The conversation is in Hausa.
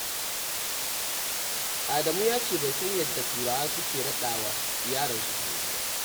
Adamu ya ce bai san yadda Turawa suke raɗa wa ƴaransu suna ba.